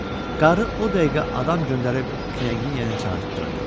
Qarı o dəqiqə adam göndərib Knyaginya'nı çağırdırdı.